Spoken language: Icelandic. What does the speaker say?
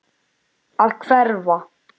Að hverfa.